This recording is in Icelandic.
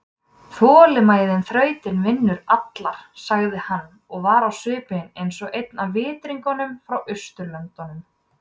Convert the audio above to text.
ÞOLINMÆÐIN ÞRAUTIR VINNUR ALLAR, sagði hann og var á svipinn eins og einn af Vitringunum-frá-Austurlöndum.